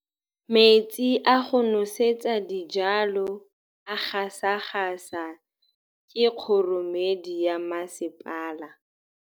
Metsi a go nosetsa dijalo a gasa gasa ke kgogomedi ya masepala.